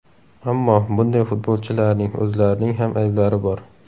Ammo bunday futbolchilarning o‘zlarining ham ayblari bor.